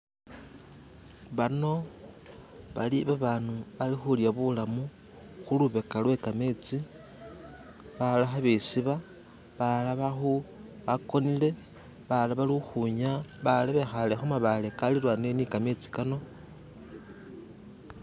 Bano bali babantu abali kulya bulamu kulubega lwe gamezi. Balala balikwisuba balala bagonele balala balikwinyaya balala bikaale kumabale agalilanile ni gamezi.